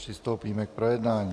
Přistoupíme k projednání.